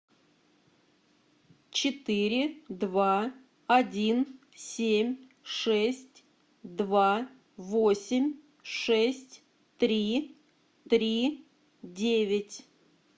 четыре два один семь шесть два восемь шесть три три девять